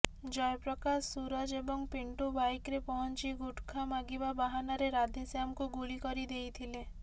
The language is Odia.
ଜୟପ୍ରକାଶ ସୂରଜ ଏବଂ ପିଣ୍ଟୁ ବାଇକରେ ପହଞ୍ଚି ଗୁଟଖା ମାଗିବା ବାହାନାରେ ରାଧେଶ୍ୟାମଙ୍କୁ ଗୁଳି କରି ଦେଇଥିଲେ